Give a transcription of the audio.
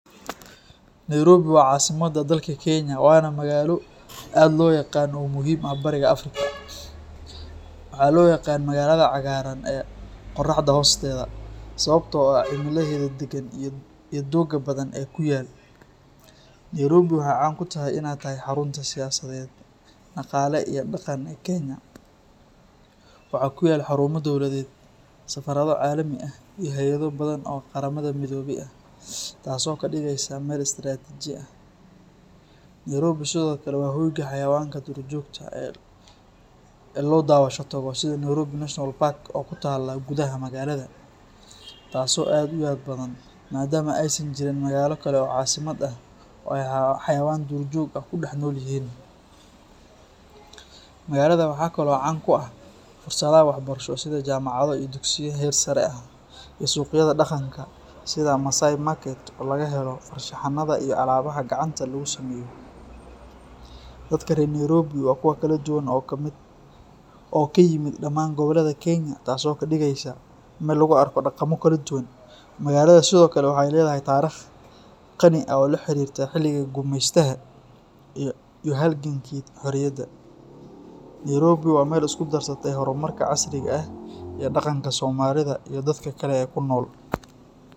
Nairobi waa caasimadda dalka Kenya, waana magaalo aad loo yaqaan oo muhiim u ah Bariga Afrika. Waxaa loo yaqaan "magaalada cagaaran ee qoraxda hoosteeda" sababtoo ah cimilaheeda deggan iyo doogga badan ee ku yaal. Nairobi waxay caan ku tahay inay tahay xarunta siyaasadeed, dhaqaale iyo dhaqan ee Kenya. Waxaa ku yaal xarumo dowladeed, safaarado caalami ah iyo hay’ado badan oo qaramada midoobay ah, taasoo ka dhigaysa meel istaraatiji ah. Nairobi sidoo kale waa hoyga xayawaanka duurjoogta ah ee loo daawasho tago sida Nairobi National Park oo ku taalla gudaha magaalada, taasoo aad u yaab badan maadaama aysan jirin magaalo kale oo caasimad ah oo xayawaan duurjoog ah ku dhex nool yihiin. Magaalada waxaa kaloo caan ku ah fursadaha waxbarasho sida jaamacado iyo dugsiyo heer sare ah, iyo suuqyada dhaqanka sida Maasai Market oo laga helo farshaxanada iyo alaabaha gacanta lagu sameeyo. Dadka reer Nairobi waa kuwo kala duwan oo ka yimid dhammaan gobollada Kenya, taasoo ka dhigaysa meel lagu arko dhaqammo kala duwan. Magaalada sidoo kale waxay leedahay taariikh qani ah oo la xiriirta xilligii gumeystaha iyo halgankii xorriyadda. Nairobi waa meel isku darsatay horumarka casriga ah iyo dhaqanka Soomaalida iyo dadka kale ee ku nool.